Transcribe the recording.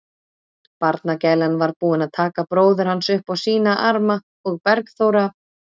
Barnagælan var búin að taka bróður hans upp á sína arma og Bergþóra